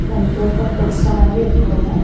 और उनके ऊपर कुछ सामान भी रखा हुआ है।